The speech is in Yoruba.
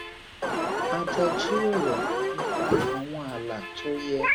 a jọ jíròrò nipa àwọn ààlà tó yẹ